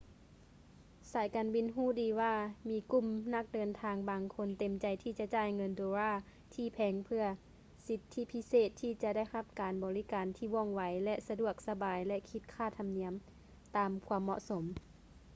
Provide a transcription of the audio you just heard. ສາຍການບິນຮູ້ດີວ່າມີກຸ່ມນັກເດີນທາງບາງຄົນເຕັມໃຈທີ່ຈະຈ່າຍເງິນໂດລາທີ່ແພງເພຶ່ອສິດທິພິເສດທີ່ຈະໄດ້ຮັບການບໍລິການທີ່ວ່ອງໄວ ແລະ ສະດວກສະບາຍ ແລະ ຄິດຄ່າທຳນຽມຕາມຄວາມເໝາະສົມ